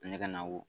Ne ka na wo